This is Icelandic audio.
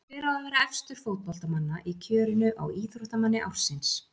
Hver á að vera efstur fótboltamanna í kjörinu á Íþróttamanni ársins?